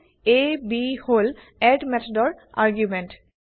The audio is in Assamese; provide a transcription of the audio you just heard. a b হল এড মেথডৰ আৰ্গুমেন্ট